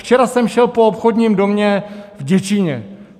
Včera jsem šel po obchodním domě v Děčíně.